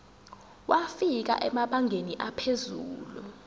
wafika emabangeni aphezulu